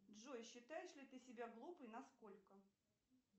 джой считаешь ли ты себя глупой на сколько